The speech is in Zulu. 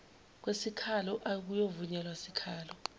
kwesikhalo akuyovunyelwa sikhalo